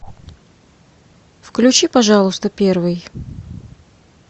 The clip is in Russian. включи пожалуйста первый